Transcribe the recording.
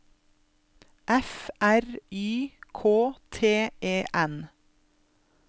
F R Y K T E N